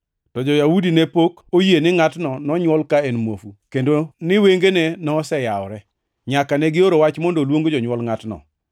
To jo-Yahudi ne pod ok oyie ni ngʼatni nonywol ka en muofu, kendo ni wengene noseyawore, nyaka negioro wach mondo oluong jonywol ngʼatno.